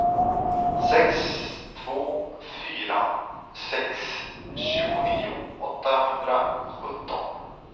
sex två fyra sex tjugonio åttahundrasjutton